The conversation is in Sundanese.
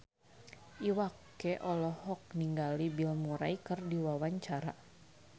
Iwa K olohok ningali Bill Murray keur diwawancara